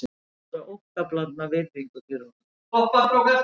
Menn báru óttablandna virðingu fyrir honum